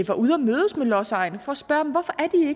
var ude at mødes med lodsejerne for at spørge